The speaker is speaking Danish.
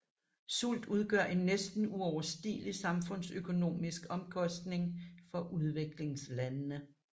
Sult udgør en næsten uoverstigelig samfundsøkonomisk omkostning for udviklingslandene